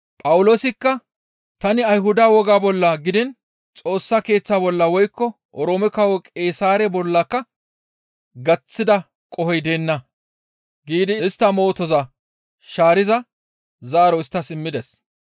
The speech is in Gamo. Phawuloosikka, «Tani Ayhuda wogaa bolla gidiin Xoossa Keeththa bolla woykko Oroome Kawo Qeesaare bollaka gaththida qohoy deenna» giidi istta mootoza shaariza zaaro isttas immides.